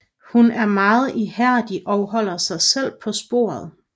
Hun er meget ihærdig og holder sig selv på sporet